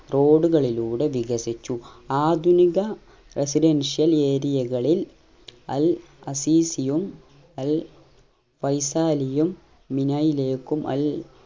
road കളിലൂടെ വികസിച്ചു ആധുനിക residential area കളിൽ അൽ അസീസയും അൽ വൈസാലിയും മിനയിലേകും അൽ